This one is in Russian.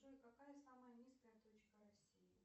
джой какая самая низкая точка россии